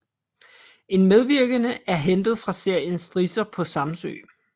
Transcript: En medvirkende er hentet fra serien Strisser på Samsø